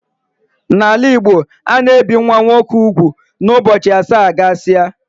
N'ala Igbo ana ebi nwa nwoke úgwù na ụbọchị asaa gasia